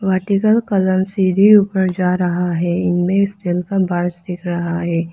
Vertical colour से भी ऊपर जा रहा है इनमें रहा है।